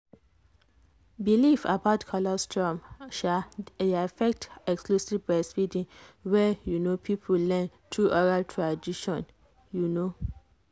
belief about colostrum sha dey affect exclusive breastfeeding wey you no people learn through oral tradition. you know.